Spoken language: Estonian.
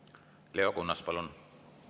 Leo Kunnas, palun!